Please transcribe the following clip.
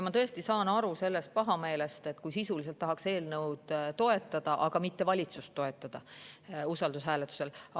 Ma tõesti saan aru sellest pahameelest, kui sisuliselt tahaks toetada eelnõu, kuid mitte toetada valitsust usaldushääletusel.